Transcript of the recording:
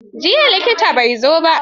Jiya likitan bai zo ba.